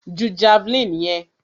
Ju javeline yẹn!